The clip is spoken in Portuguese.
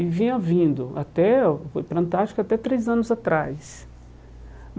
E vinha vindo até para a Antártica até três anos atrás.